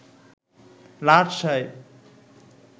লাট সাহেব